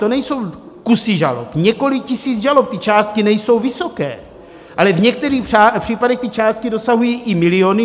To nejsou kusy žalob, několik tisíc žalob, ty částky nejsou vysoké, ale v některých případech ty částky dosahují i miliony.